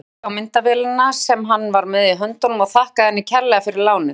Klappaði á myndavélina sem hann var með í höndunum og þakkaði henni kærlega fyrir lánið.